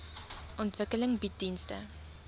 ontwikkeling bied dienste